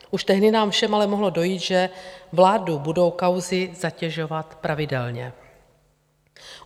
Už tehdy nám všem ale mohlo dojít, že vládu budou kauzy zatěžovat pravidelně.